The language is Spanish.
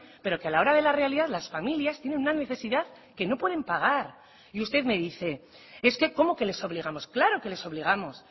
pero que a la hora de la realidad las familias tienen una necesidad que no pueden pagar y usted me dice es que cómo que les obligamos claro que les obligamos